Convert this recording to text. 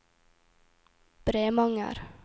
Bremanger